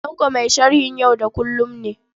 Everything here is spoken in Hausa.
Tanko mai sharhin yau da kullum ne.